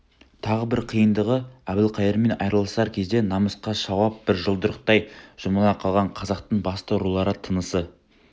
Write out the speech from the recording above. тағы бір қиындығы әбілқайырмен айырылысар кезде намысқа шауып бір жұдырықтай жұмыла қалған қазақтың басты рулары тынысы